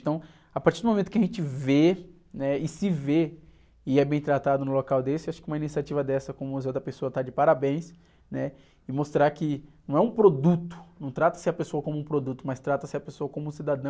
Então, a partir do momento que a gente vê, né? E se vê, e é bem tratado num local desse, acho que uma iniciativa dessa com o está de parabéns e mostrar que não é um produto, não trata-se a pessoa como um produto, mas trata-se a pessoa como um cidadão...